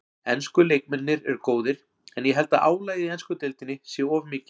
Ensku leikmennirnir eru góðir en ég held að álagið í ensku deildinni sé of mikið.